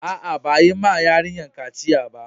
Aa, ba yi ma yarinyan kaciya ba.